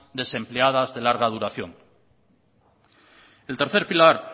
desempleadas de larga duración el tercer pilar